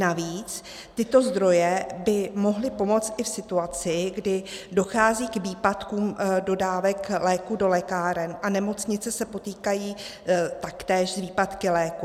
Navíc tyto zdroje by mohly pomoct i v situaci, kdy dochází k výpadkům dodávek léků do lékáren a nemocnice se potýkají taktéž s výpadky léků.